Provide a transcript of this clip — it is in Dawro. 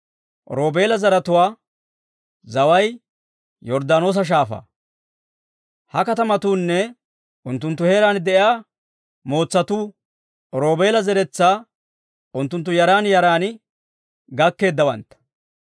Roobeela zaratuwaa zaway Yorddaanoosa Shaafaa. Ha katamatuunne unttunttu heeraan de'iyaa mootsatuu; Roobeela zeretsaa unttunttu yaran yaran gakkeeddawantta.